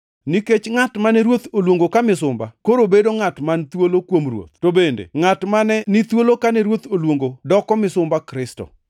Nikech ngʼat mane Ruoth oluongo ka misumba koro bedo ngʼat man thuolo kuom Ruoth, to bende ngʼat mane ni thuolo kane Ruoth oluongo doko misumba Kristo.